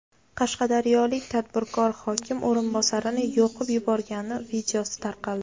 Qashqadaryolik tadbirkor hokim o‘rinbosarini yoqib yuborgani videosi tarqaldi.